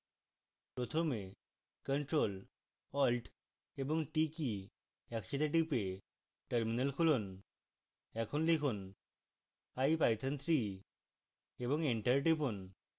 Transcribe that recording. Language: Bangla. প্রথমে ctrl + alt + t কী একসাথে টিপে terminal খুলুন